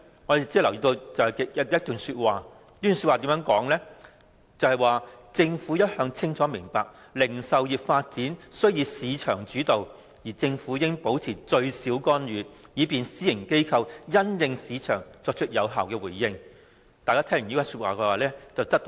我們只留意到有以下的描述："政府一向清楚明白零售業發展須以市場主導，而政府應保持最少干預，故此應用這零售設施規劃的概括方法時必須具彈性"。